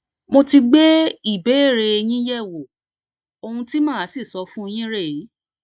mo ti gbé ìbéèrè yín yẹwò ohun tí màá sì sọ fún yín rèé